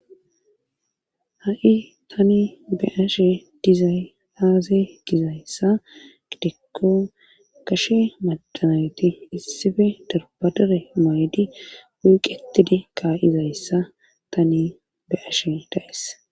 ha7i tani be ashe dizayaaze gizayssa gidekko kashe madanayti issife darbadare mayedi wiiqetidi ka7izayssa tani be ashe daes